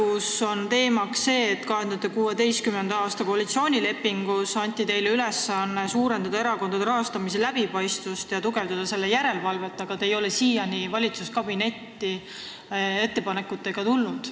Selle teema oli, et 2016. aasta koalitsioonilepingus anti teile ülesanne suurendada erakondade rahastamise läbipaistvust ja tugevdada järelevalvet selle üle, aga te ei ole siiani valitsuskabinetti nende ettepanekutega tulnud.